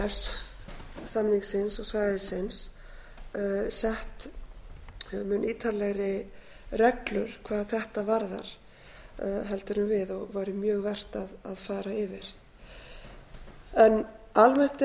innan e e s samningsins og sett mun ítarlegri reglur hvað þetta varðar en við og væri mjög vert að fara yfir almennt